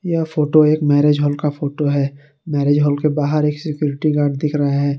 यह फोटो एक marriage hall का फोटो है मैरेज हॉल के बाहर एक सिक्युरिटी गार्ड दिख रहा है।